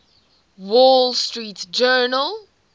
wall street journal